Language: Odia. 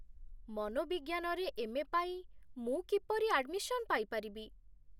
ମନୋବିଜ୍ଞାନରେ ଏମ୍.ଏ. ପାଇଁ ମୁଁ କିପରି ଆଡମିସନ୍ ପାଇପାରିବି?